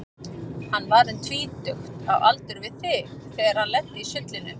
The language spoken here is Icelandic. Hann var um tvítugt, á aldur við þig, þegar hann lenti í sullinu.